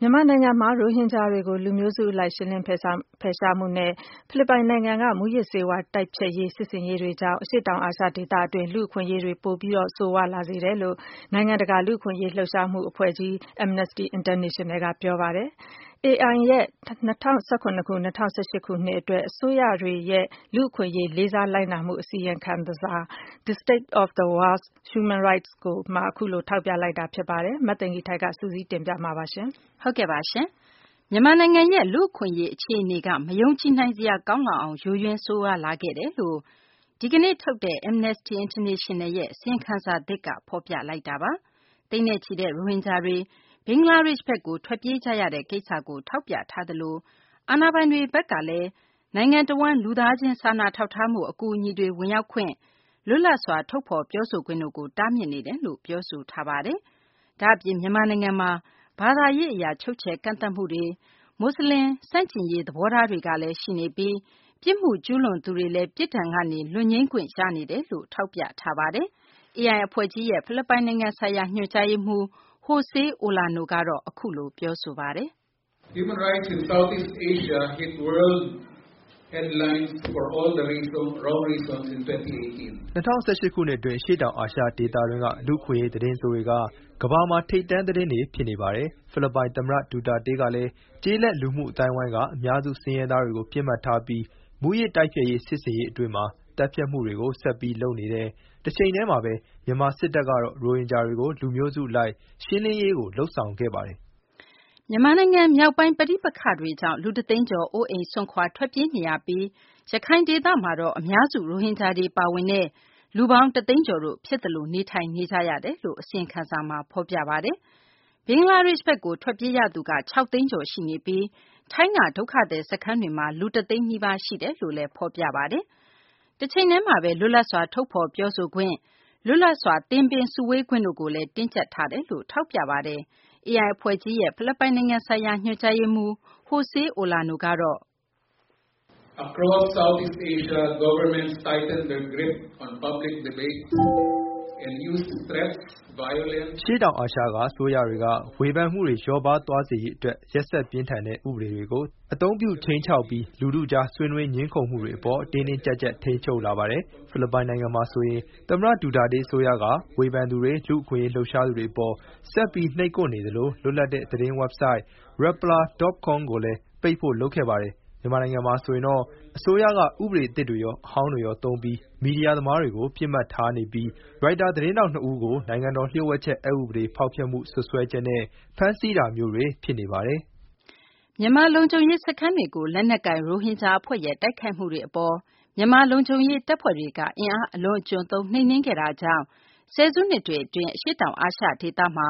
မြန်မာနိုင်ငံမှာ ရိုဟင်ဂျာတွေကို လူမျိုးစု အလိုက် ရှင်းလင်းဖယ်ရှားမှုနဲ့ ဖိလစ်ပိုင်နိုင်ငံက မူးယစ်ဆေးဝါး တိုက်ဖျက်ရေး စစ်ဆင်ရေးတို့ကြောင့် အရှေ့တောင် အာရှ ဒေသတွင်း လူ့အခွင့်အရေး ပိုပြီး ဆိုးရွားလာစေတယ်လို့ နိုင်ငံတကာ အခွင့်အရေး လှုပ်ရှားမှု အဖွဲ့ကြီး Amnesty International က ပြောဆိုလိုက်ပါတယ်။ Amnesty International ရဲ့၂၀၁၇- ၂၀၁၈ ခုနှစ် အတွက် အစိုးရတွေရဲ့ လူ့အခွင့်အရေး လေးစားလိုက်နာမှု အစီရင်ခံစာ The State of the World’s Human Rights မှာ အခုလို ထောက်ပြလိုက်တာ ဖြစ်ပါတယ်။ မသိင်္ဂ ီထိုက် စုစည်းတင်ပြပေးမှာပါ။ မြန်မာနိုင်ငံရဲ့ လူ့အခွင့်အရေး အခြေအနေက မယုံကြည်နိုင်စရာ ကောင်းလောက်အောင် ယိုယွင်း ဆိုးရွားလာခဲ့တယ်လို့ ဒီကနေ့ ထုတ်တဲ့ Amnesty International ရဲ့ အစီရင်ခံစာ သစ်က ဖော်ပြလိုက်တာပါ။ သိန်းနဲ့ချီတဲ့ ရိုဟင်ဂျာတွေ ဘင်္ဂလားဒေရှ့် ဘက်ကို ထွက်ပြေးကြရတဲ့ကိစ္စကို ထောက်ပြထားသလို အာဏာပိုင်တွေ ဘက်ကလည်း နိုင်ငံတဝန်း လူသားချင်း စာနာထောက်ထားမှု အကူအညီတွေ ဝင်ရောက်ခွင့်၊ လွတ်လပ်စွာ ထုတ်ဖော်ပြောဆိုခွင့်တို့ကို တားမြစ်နေတယ်လို့လည်း ပြောဆိုထားပါတယ်။ ဒါ့အပြင် မြန်မာနိုင်ငံမှာ ဘာသာရေး အရ ချုပ်ချယ်ကန့်သတ်မှုတွေ၊ မူဆလင် ဆန့်ကျင်ရေး သဘောထားတွေကလည်း ရှိနေပြီး ပြစ်မှုကျူးလွန်သူတွေလည်း ပြစ်ဒဏ်ကနေ လွတ်ငြိမ်းခွင့်ရနေတယ်လို့ ထောက်ပြထားပါတယ်။ AI အဖွဲ့ကြီးရဲ့ ဖိလစ်ပိုင် နိုင်ငံဆိုင်ရာ ညွှန်ကြားရေးမှူး Jose Olano ကတော့ အခုလို ပြောဆိုလိုက်ပါတယ်။ "၂၀၁၈ ခုနှစ် အတွင်း အရှေ့တောင် အာရှ ဒေသတွင်းက လူ့အခွင့်အရေး သတင်းဆိုးတွေက ကမ္ဘာ့မှာ ထိပ်တန်း သတင်းတွေ ဖြစ်နေပါတယ်။ ဖိလစ်ပိုင် သမ္မတ ဒူတာတေးကလည်း ကျေးလက် လူမှုအသိုင်းအဝိုင်းက အများစု ဆင်းရဲသားတွေကို ပစ်မှတ်ထားပြီး မူးယစ် တိုက်ဖျက်ရေး စစ်ဆင်ရေး အတွင်း သတ်ဖြတ်မှုတွေကို ဆက်ပြီး လုပ်နေတဲ့ တချိန်တည်းမှာဘဲ မြန်မာ စစ်တပ်ကတော့ ရိုဟင်ဂျာတွေကို လူမျိုးစု အလိုက် ရှင်းလင်းရေးကို လုပ်ဆောင်ခဲ့ပါတယ်။" မြန်မာနိုင်ငံ မြောက်ပိုင်း ပဋိပက္ခတွေကြောင့် လူတသိန်းကျော် အိုးအိမ်စွန့်ခွာ ထွက်ပြေးနေရပြီး ရခိုင်ဒေသမှာတော့ အများစု ရိုဟင်ဂျာတွေ ပါဝင်တဲ့ လူပေါင်း ၁ သိန်းကျော်တို့ ဖြစ်သလို နေထိုင်နေကြရတယ်လို့လည်း ထောက်ပြပါတယ်။ ဘင်္ဂလားဒေရှ့်ဘက်ကို ထွက်ပြေးရသူက ၆ သိန်းကျော် ရှိနေပြီး ထိုင်းက ဒုက္ခသည် စခန်းတွေမှာလည်း လူ ၁ သိန်းနီးပါးတို့ ရှိနေတယ်လို့ အစီရင်ခံစာမှာ ဖော်ပြပါတယ်။ တချိန်တည်းမှာဘဲ လွတ်လပ်စွာ ထုတ်ဖော် ပြောဆိုခွင့် လွတ်လပ်စွာ သင်းပင်း စုဝေးခွင့်တို့ကိုလည်း တင်းကျပ်ထားတယ်လို့ ပြောဆိုပါတယ်။ AI အဖွဲ့ကြီးရဲ့ ဖိလစ်ပိုင် နိုင်ငံဆိုင်ရာ ညွှန်ကြားရေးမှူး Jose Olano ကတော့ လွတ်လပ်စွာ ထုတ်ဖော်ခွင့်၊ သင်းပင်း စုဝေးခွင့်တွေ အပေါ် တင်းကျပ်လာတာကတော့ အရှေ့တောင် အာရှ ဒေသတခုလုံးမှာ ဖြစ်နေတယ်လို့ ပြောဆိုလိုက်ပါတယ်။ "အရှေ့တောင် အာရှက အစိုးရတွေက ဝေဖန်မှုတွေ လျော့ပါးသွားစေရေး အတွက် ရက်စက်ပြင်းထန်တဲ့ ဥပဒေတေကို အသုံးပြု ခြိမ်းခြောက်ပြီး လူထုကြား ဆွေးနွေး ငြင်းခုံမှုတွေ အပေါ် တင်းတင်းကျပ်ကျပ် ထိန်းချုပ်လာပါတယ်။ ဖိလစ်ပိုင် နိုင်ငံမှာ ဆိုရင် သမ္မတ ဒူတာတေး အစိုးရက ဝေဖန်သူတွေ၊ လူ့အခွင့်အရေး လှုပ်ရှားသူတွေ အပေါ် ဆက်ပြီး နှိပ်ကွက်နေသလို လွတ်လပ်တဲ့ သတင်းဝက်ဘ်ဆိုက် Rappler.com ကိုလည်း ပိတ်ဖို့ လုပ်ခဲ့ပါတယ်။ မြန်မာနိုင်ငံမှာ ဆိုရင်တော့ အစိုးရက ဥပဒေ အသစ်တွေရော အဟောင်းတွေရော သုံးပြီး မီဒီယာ သမားတွေကို ပစ်မှတ်ထားနေပြီး ရိုက်တာ သတင်းထောက် နှစ်ဦးကို နိုင်ငံတော် လျို့ဝှက်ချက် အက်ဥပဒေ ဖောက်ဖျက်မှု စွပ်စွဲချက်နဲ့ ဖမ်းဆီးတာမျိုးတွေ ဖြစ်နေပါတယ်။" မြန်မာ လုံခြုံရေး စခန်းတွေကို လက်နက်ကိုင် ရိုဟင်ဂျာ အဖွဲ့ရဲ့ တိုက်ခိုက်မှုတွေကို မြန်မာ လုံခြုံရေး တပ်ဖွဲ့တွေက အင်အားအလွန်အကျွံသုံး နှိမ်နင်းခဲ့တာကြောင့် ဆယ်စုနှစ်တွေ အတွင်း အရှေ့တောင် အာရှ ဒေသမှာ